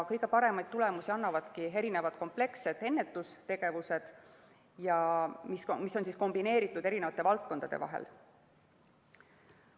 Kõige paremaid tulemusi annavadki komplekssed ennetustegevused, mis on kombineeritud eri valdkondade vahel.